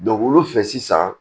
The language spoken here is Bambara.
olu fɛ sisan